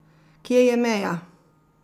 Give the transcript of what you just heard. Kje je meja?